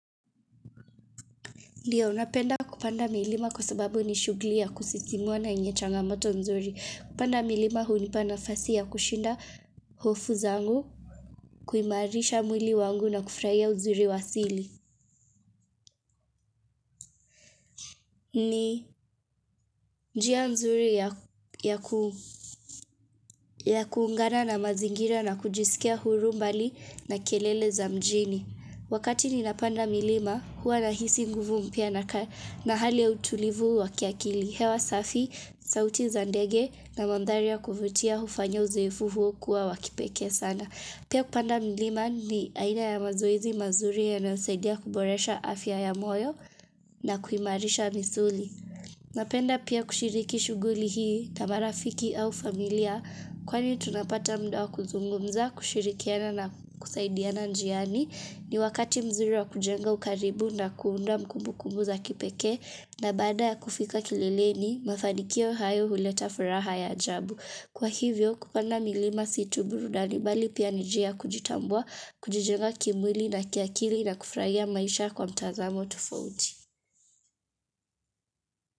Ndio napenda kupanda milima kwa sababu ni shughuli ya kusisimua na yenye changamoto nzuri. Kupanda milima hunipa nafasi ya kushinda hofu zangu, kuimarisha mwili wangu na kufurahia uzuri wa asili. Ni njia nzuri ya ya kuungana na mazingira na kujisikia huru mbali na kelele za mjini. Wakati ninapanda milima huwa nahisi nguvu mpya na hali ya utulivu wa kiakili. Hewa safi, sauti za ndege na mandhari ya kuvutia hufanya uzoefu huu kuwa wa kipekee sana. Pia kupanda milima ni aina ya mazoezi mazuri yanayosaidia kuboresha afya ya moyo na kuimarisha misuli. Napenda pia kushiriki shughuli hii na marafiki au familia kwani tunapata muda wa kuzungumza, kushirikiana na kusaidiana njiani. Ni wakati mzuri wa kujenga ukaribu na kuunda kumbukumbu za kipekee na baada ya kufika kilileni, mafanikio hayo huleta furaha ya ajabu. Kwa hivyo, kupanda milima si tu burudani bali pia ni njia ya kujitambua, kujijenga kimwili na kiakili na kufurahia maisha kwa mtazamo tufauti.